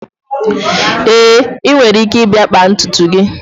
Èé, ị nwere ike ịbịa kpaa ntutu gị